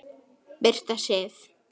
Birta Sif.